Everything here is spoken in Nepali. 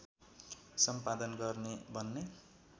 सम्पादन गर्ने भन्ने